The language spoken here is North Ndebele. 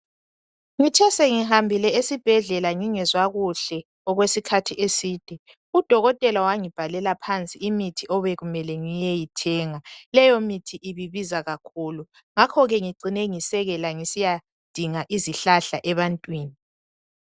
Ngithe sengihambile esibhedlela ngingezwa kuhle okwesikhathi eside udokotela wangibhalela phansi imithi obekumele ngiyeyithenga. Leyo mithi ibe ibiza kakhulu ngakho ke ngicine ngisekela ngisiyadinga izihlahla ebantwini.